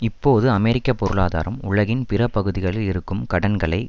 இப்பொழுது அமெரிக்க பொருளாதாரம் உலகின் பிற பகுதிகளில் இருக்கும் கடன்களை